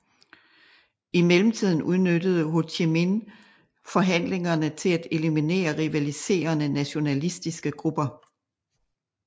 I mellemtiden udnyttede Ho Chi Minh forhandlingerne til at eliminere rivaliserende nationalistiske grupper